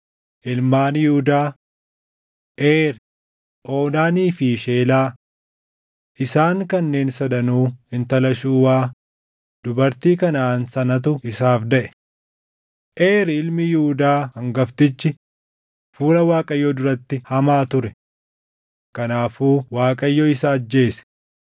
Ilmaan Yihuudaa: Eeri, Oonaanii fi Sheelaa. Isaan kanneen sadanuu intala Shuuwaa, dubartii Kanaʼaan sanatu isaaf daʼe. Eer ilmi Yihuudaa hangaftichi fuula Waaqayyoo duratti hamaa ture. Kanaafuu Waaqayyo isa ajjeese.